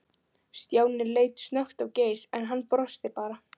Stjáni leit snöggt á Geir, en hann brosti bara.